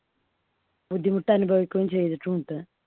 ബുദ്ധിമുട്ട് അനുഭവിക്കുകയും ചെയ്തിട്ടുണ്ട്.